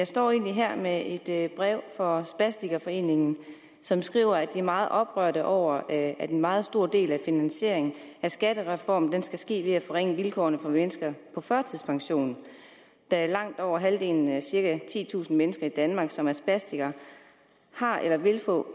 står jeg her med et et brev fra spastikerforeningen som skriver at de er meget oprørte over at en meget stor del af finansieringen af skattereformen skal ske ved at forringe vilkårene for mennesker på førtidspension da langt over halvdelen af de cirka titusind mennesker i danmark som er spastikere har eller vil få